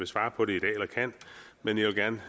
svare på det i dag eller kan men jeg vil gerne